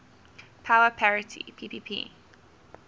power parity ppp